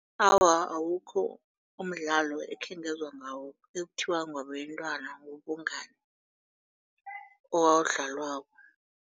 Awa, awukho umdlalo ekhengezwa ngawo ekuthiwa ngewabentwana wobungani owawudlalwako.